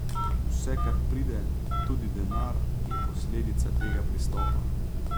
Vse, kar pride, tudi denar, je posledica tega pristopa.